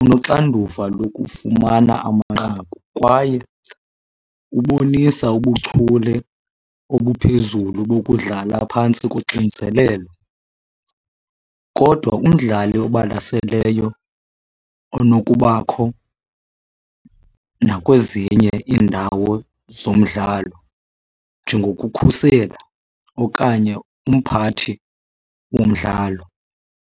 unoxanduva lokufumana amanqaku kwaye ubonisa ubuchule obuphezulu bokudlala phantsi koxinzelelo. Kodwa umdlali obalaseleyo onokubakho nakwezinye iindawo zomdlalo njengokukhusela okanye umphathi womdlalo.